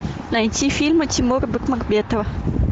найти фильмы тимура бекмамбетова